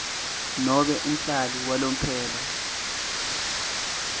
nobe umhlali walomphelo